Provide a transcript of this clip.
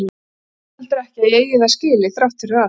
Mér finnst heldur ekki að ég eigi það skilið, þrátt fyrir allt.